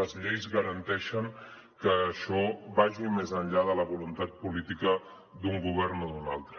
les lleis garanteixen que això vagi més enllà de la voluntat política d’un govern o d’un altre